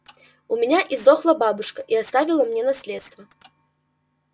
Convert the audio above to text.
у меня издохла бабушка и оставила мне наследство